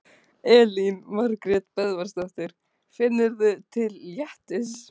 Elín Margrét Böðvarsdóttir: Finnurðu til léttis?